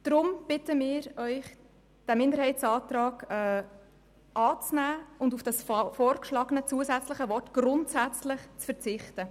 Deshalb bitten wir Sie, den Minderheitsantrag anzunehmen und auf das vorgeschlagene, zusätzliche Wort «grundsätzlich» zu verzichten.